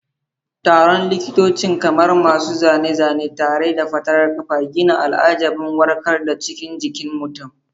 Taron likitocin, kamar masu zane-zane tare da fatarar ƙafa, gina al'ajiban warkarwa a cikin jikin mutum.